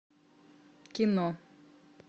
кино